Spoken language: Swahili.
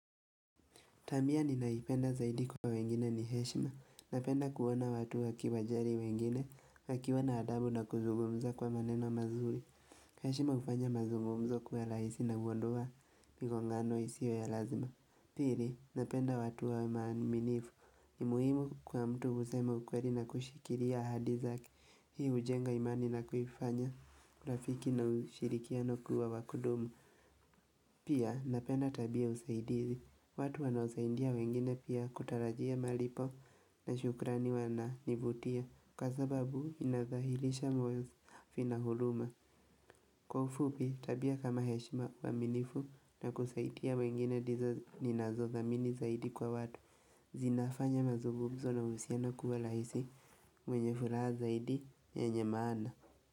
Tabia ni ninayoipenda zaidi kwa wengine ni heshima. Napenda kuona watu wakiwajali wengine, wakiwa na adabu na kuzugumza kwa maneno mazuri. Heshima hufanya mazugumzo kuwa rahisi na huondoa ni migongano isiyo ya lazima. Pili, napenda watu waaminifu. Ni muhimu kwa mtu kusema ukweli na kushikilia ahadi zake. Hii hujenga imani na kuifanya, urafiki na ushirikiano kuwa wa kudumu. Pia, napenda tabia usaidizi. Watu wanaosaidia wengine pia kutarajia malipo na shukrani wananivutia Kwa sababu inathahilisha moyo vina huruma. Kwa ufupi tabia kama heshima uaminifu na kusaidia wengine ndizo ninazothamini zaidi kwa watu zinafanya mazungumzo na uhusiano kuwa rahisi mwenye furaha zaidi yenye maana.